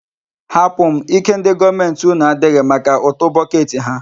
Hapụ m, ike ndị gọọmenti unu adịghị maka utu bọket ha.